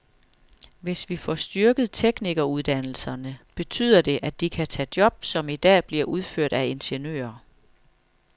Hvis vi får styrket teknikeruddannelserne, betyder det, at de kan tage job, som i dag bliver udført af ingeniører.